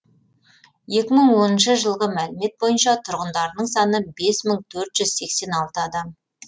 екі мың оныншы жылғы мәлімет бойынша тұрғындарының саны бес мың төрт жүз сексен алты адам